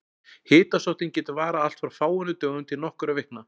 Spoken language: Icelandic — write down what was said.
Hitasóttin getur varað allt frá fáeinum dögum til nokkurra vikna.